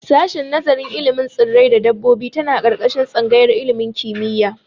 Sashin nazarin ilimin tsirrai da dabbobi tana ƙarƙashin tsangayar ilimin kimiyya.